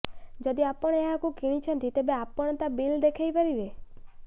ଯଦି ଆପଣ ଏହାକୁ କିଣିଛନ୍ତି ତେବେ ଆପଣ ତା ବିଲ୍ ଦେଖାଇ ପାରିବେ